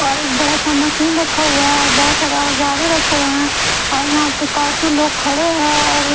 और एक बड़ा सा मशीन रखा हुआ है और बहोत सारा औजारे रखे हुए है और यहां पे काफी लोग खड़े हैं और --